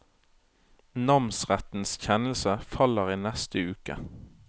Namsrettens kjennelse faller i neste uke.